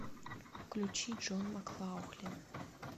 включи джон маклаухлин